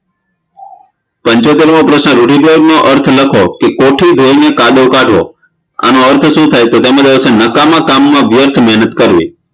પંચોતેરમો પ્રશ્ન રૂઢિપ્રયોગનો અર્થ લખો કોઠી વેઠવી કાદવ કાઢવો આનો અર્થ શું થાય નકામા કામમાં વ્યર્થ મેહનત કરવી